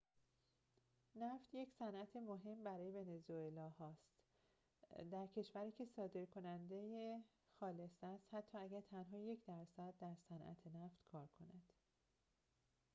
نفت یک صنعت مهم برای ونزوئلا ها است در کشوری که صادرکننده خالص است حتی اگر تنها یک درصد در صنعت نفت کار کند